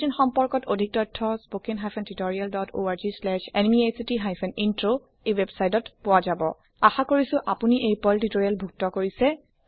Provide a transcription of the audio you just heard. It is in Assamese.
অধিক তথ্যৰ বাবে সম্পৰ্ক কৰক160 spoken hyphen tutorial dot org slash NMEICT hyphen intro আশা কৰো আপোনালোকে পাৰ্ল টিউটোৰিএল উপভোগ কৰিলে